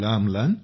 होय